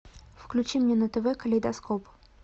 включи мне на тв калейдоскоп